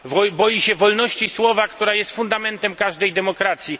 boi się wolności słowa, która jest fundamentem każdej demokracji.